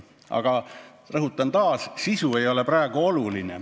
Ma rõhutan: eelnõu otsene sisu pole praegu oluline.